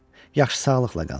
Yaxşı, sağlıqla qal.